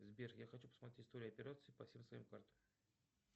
сбер я хочу посмотреть историю операций по всем своим картам